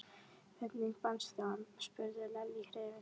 Hvernig fannstu hann? spurði Lalli hrifinn.